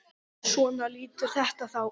Svona lítur þetta þá út.